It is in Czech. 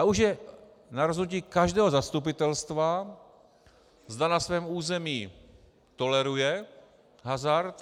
A už je na rozhodnutí každého zastupitelstva, zda na svém území toleruje hazard.